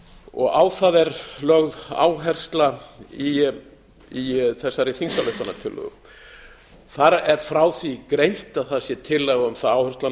og á það er lögð áhersla í þessari þingsályktunartillögu þar er frá því greint að það sé tillaga um að áherslan